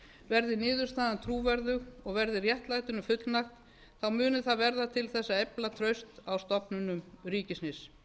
verði niðurstaðan trúverðug og verði réttlætinu fullnægt þá muni það verða til að efla traust stofnunum ríkisins